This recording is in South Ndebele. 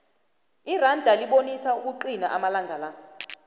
iranda libunisa ukuqina amalanga